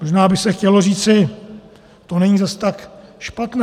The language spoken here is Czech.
Možná by se chtělo říci - to není zas tak špatné.